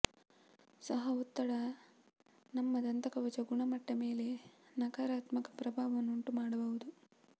ಸಹ ಒತ್ತಡ ನಮ್ಮ ದಂತಕವಚ ಗುಣಮಟ್ಟ ಮೇಲೆ ನಕಾರಾತ್ಮಕ ಪ್ರಭಾವವನ್ನು ಉಂಟುಮಾಡಬಹುದು